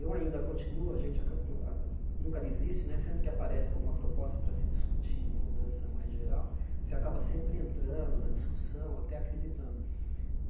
Eu ainda continuo, a gente aca nu o a nunca desiste né, sempre que aparece alguma proposta para se discutir, uma mudança mais geral, você acaba sempre entrando na discussão, até acreditando.